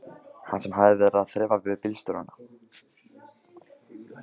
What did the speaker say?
Hann hafði verið að þrefa við bílstjórana.